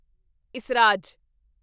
esraj